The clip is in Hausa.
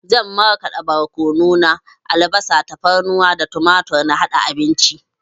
Zan marƙada borkono na, albasa, tafarnuwa da tumatur na haɗa abinci